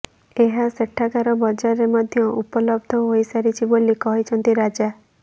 ଏହା ସେଠାକାର ବଜାରରେ ମଧ୍ୟ ଉପଲବ୍ଧ ହୋଇସାରିଛି ବୋଲି କହିଛନ୍ତି ରାଜା